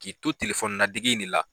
K'i to telefɔni ladege in de la